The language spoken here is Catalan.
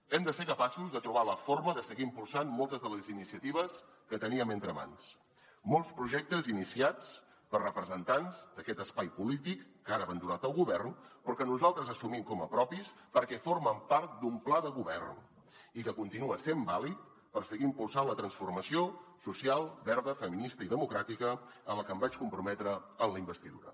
hem de ser capaços de trobar la forma de seguir impulsant moltes de les iniciatives que teníem entre mans molts projectes iniciats per representants d’aquest espai polític que han abandonat el govern però que nosaltres assumim com a propis perquè formen part d’un pla de govern i que continua sent vàlid per seguir impulsant la transformació social verda feminista i democràtica a la que em vaig comprometre a la investidura